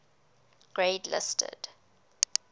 grade listed